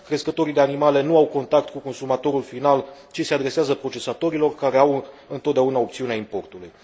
Crescătorii de animale nu au contact cu consumatorul final, ci se adresează procesatorilor, care au întotdeauna opțiunea importului.